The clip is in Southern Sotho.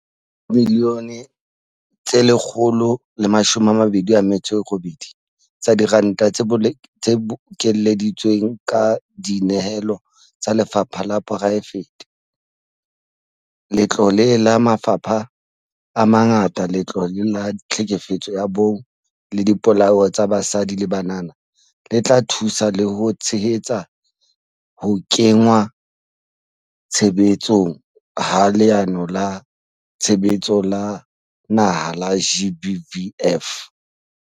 Ka dimiliyone tse 128 tsa diranta tse bokeleditsweng ka dinehelo tsa lefapha la poraefete, letlole la mafapha a mangata, Letlole la Tlhekefetso ya Bong le Dipolao tsa Basadi le Banana le tla thusa le ho tshehetsa ho kenngwa tshebetsong ha Leano la Tshebetso la naha la GBVF.